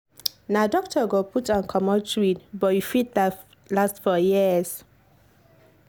na doctor go put and comot iud but e fit last for years.